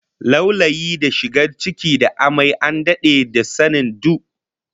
Laulayin shigar ciki da amai an dade da sanin du